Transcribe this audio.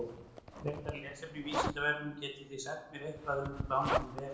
Frekara lesefni á Vísindavefnum: Getið þið sagt mér eitthvað um plánetuna Venus?